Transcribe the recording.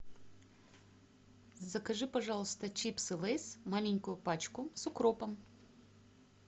закажи пожалуйста чипсы лейс маленькую пачку с укропом